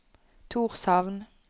Tórshavn